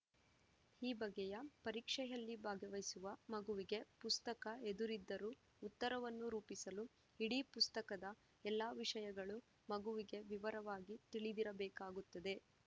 ಈ ಬಗೆಯ ಪರೀಕ್ಷೆಯಲ್ಲಿ ಭಾಗವಹಿಸುವ ಮಗುವಿಗೆ ಪುಸ್ತಕ ಎದುರಿದ್ದರೂ ಉತ್ತರವನ್ನು ರೂಪಿಸಲು ಇಡೀ ಪುಸ್ತಕದ ಎಲ್ಲಾ ವಿಷಯಗಳು ಮಗುವಿಗೆ ವಿವರವಾಗಿ ತಿಳಿದಿರಬೇಕಾಗುತ್ತದೆ